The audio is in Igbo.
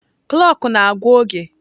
Kloọk na-agwa oge.